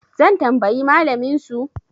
zan tambayi malaminsu?